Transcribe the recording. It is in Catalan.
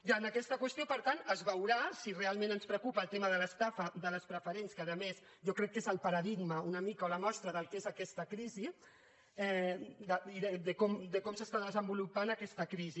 i en aquesta qüestió per tant es veurà si realment ens preocupa el tema de l’estafa de les preferents que a més jo crec que és el paradigma una mica o la mostra del que és aquesta crisi de com s’està desenvolupant aquesta crisi